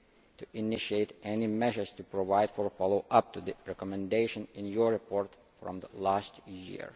to initiate any measures to provide for a follow up to the recommendation in your report from last year.